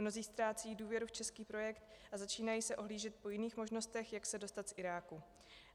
Mnozí ztrácejí důvěru v český projekt a začínají se ohlížet po jiných možnostech, jak se dostat z Iráku.